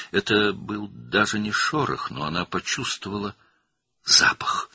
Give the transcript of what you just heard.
Bu, hətta xışıltı da deyildi, amma o, qoxu hiss etdi.